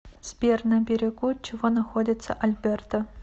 сбер на берегу чего находится альберта